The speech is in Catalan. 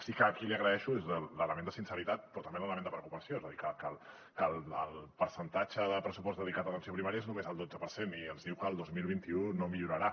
sí que aquí li agraeixo l’element de sinceritat però també l’element de preocupació és a dir que el percentatge de pressupost dedicat a atenció primària és només el dotze per cent i ens diu que el dos mil vint u no millorarà